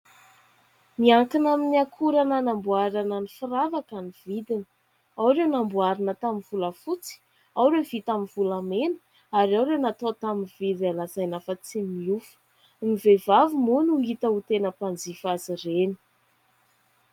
Miankina amin'ny akora nanamboarana ny firavaka ny vidiny. Ao ireo namboarina tamin'ny volafotsy ao ireo ny vita amin'ny volamena ary ao ireo natao tamin'ny vy izay lazaina fa tsy miofo ny vehivavy moa no hita ho tena mpanjifa azy ireny.